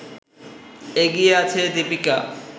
এগিয়ে আছে দীপিকা